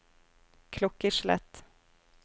klokkeslett